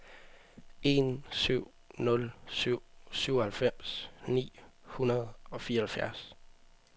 en syv nul syv syvoghalvfems ni hundrede og fireoghalvfjerds